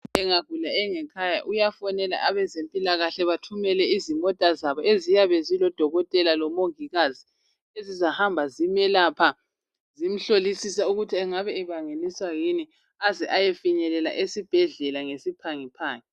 Engagula engekhaya uyafonela abezempilakahle bathumele izimota zabo eziyabe zilodokotela lomongikazi ezizahamba zimelapha zimhlolisisa ukuthi engabe ebangiliswa yini aze ayefinyelela esibhedlela ngesiphangiphangi.